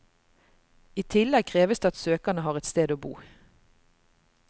I tillegg kreves det at søkerne har et sted å bo.